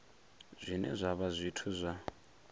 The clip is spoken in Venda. zwine zwa vha zwithu zwa